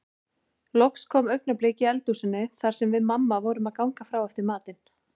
Loks kom augnablik í eldhúsinu þar sem við mamma vorum að ganga frá eftir matinn.